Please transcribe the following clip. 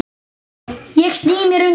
Ég sný mér undan.